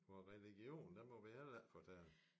Og religion det må vi heller ikke fortælle